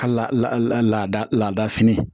A laada laada fini